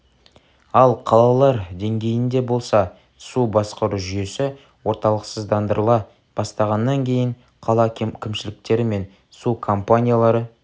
ал қалалар деңгейінде болса су басқару жүйесі орталықсыздандырыла бастағаннан кейін қала кімшіліктері мен су компаниялары